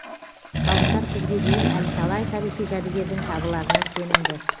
ғалымдар күзге дейін әлі талай тарихи жәдігердің табыларына сенімді